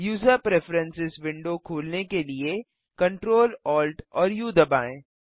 user preferences window खोलने के लिए Ctrl Alt और उ दबाएँ